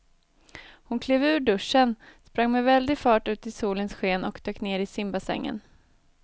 Hon klev ur duschen, sprang med väldig fart ut i solens sken och dök ner i simbassängen.